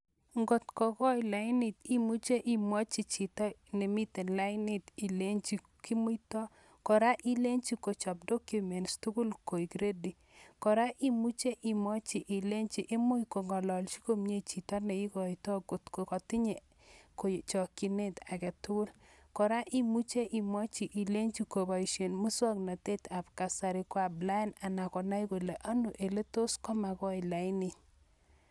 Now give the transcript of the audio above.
Ng'otko koi lainit imuche imwochi chito nemiten lainit ilenchi kimuito, kora ilenchi kochob documents tukul koik ready, kora imuche ibemwochi ilenchi imuch kong'ololchi komie chito neikoto kot ko kotinye chokyinet aketukul, kora imuche imwochi ilenchi koboishen muswoknotetab kasari ko applaen anan konai Kole ano eletos komakoi lainit.